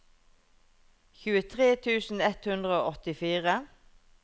tjuetre tusen ett hundre og åttifire